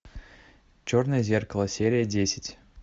черное зеркало серия десять